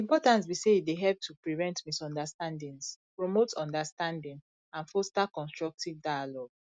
di importance be say e dey help to prevent misunderstandings promote understanding and foster constructive dialogue